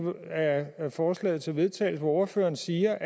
af forslaget til vedtagelse hvor ordføreren siger